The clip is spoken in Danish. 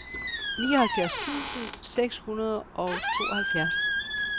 nioghalvfjerds tusind seks hundrede og tooghalvfjerds